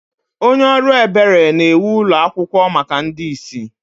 Onye ọrụ ebere na-ewu ụlọ akwụkwọ maka ndị ìsì.